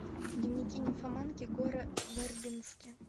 дневники нимфоманки гора вербински